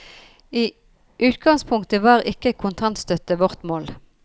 I utgangspunktet var ikke kontantstøtte vårt mål.